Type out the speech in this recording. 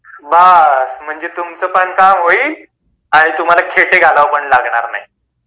बस म्हणजे तुमच पण काम होईल आणि तुम्हाला खेटे पण घालावे लागणार नाही .